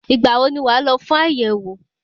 Ìgbà wo ni wàá lọ fún àyẹ̀wò?